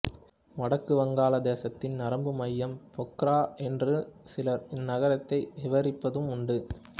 வடக்கு வங்காளதேசத்தின் நரம்பு மையம் போக்ரா என்று சிலர் இந்நகரத்தை விவரிப்பதும் உண்டு